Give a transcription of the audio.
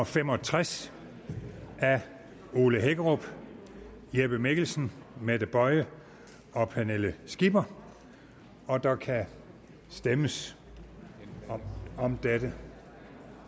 fem og tres af ole hækkerup jeppe mikkelsen mette boye og pernille skipper og der kan stemmes om dette